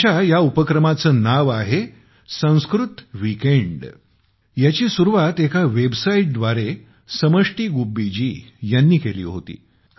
त्यांच्या या उपक्रमाचे नाव आहे - संस्कृत वीकेंड याची सुरुवात एका वेबसाईटद्वारे ए समष्टी गुब्बी जी यांनी केली होती